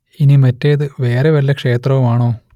ഇനി മറ്റേത് വേറെ വല്ല ക്ഷേത്രവും ആണോ